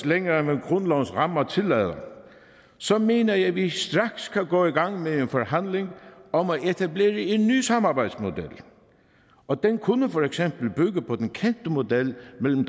længere end grundlovens rammer tillader så mener jeg at vi straks kan gå i gang med en forhandling om at etablere en ny samarbejdsmodel og den kunne for eksempel bygge på den kendte model mellem